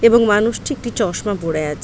এবং মানুষটি একটি চশমা পরে আছে।